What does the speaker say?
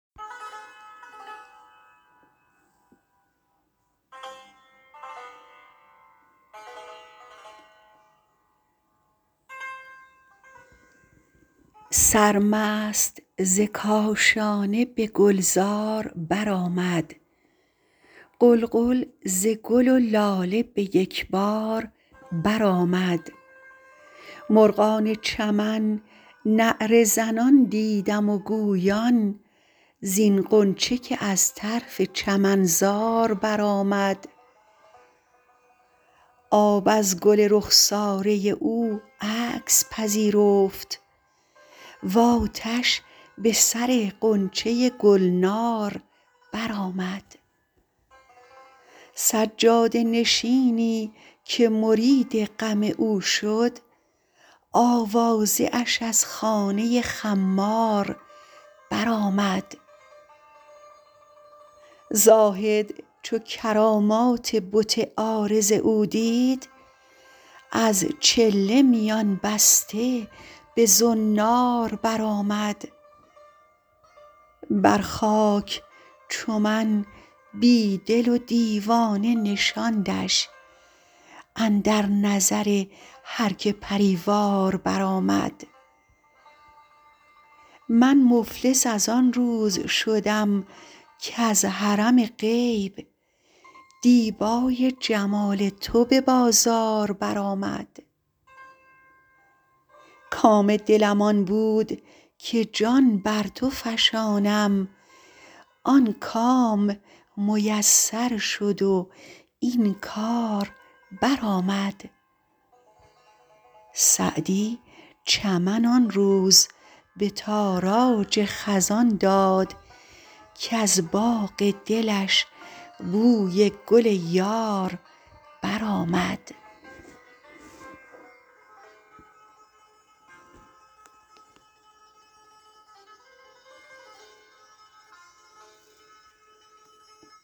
سرمست ز کاشانه به گلزار برآمد غلغل ز گل و لاله به یک بار برآمد مرغان چمن نعره زنان دیدم و گویان زین غنچه که از طرف چمنزار برآمد آب از گل رخساره او عکس پذیرفت و آتش به سر غنچه گلنار برآمد سجاده نشینی که مرید غم او شد آوازه اش از خانه خمار برآمد زاهد چو کرامات بت عارض او دید از چله میان بسته به زنار برآمد بر خاک چو من بی دل و دیوانه نشاندش اندر نظر هر که پری وار برآمد من مفلس از آن روز شدم کز حرم غیب دیبای جمال تو به بازار برآمد کام دلم آن بود که جان بر تو فشانم آن کام میسر شد و این کار برآمد سعدی چمن آن روز به تاراج خزان داد کز باغ دلش بوی گل یار برآمد